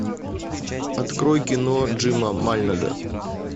открой кино джима мальнога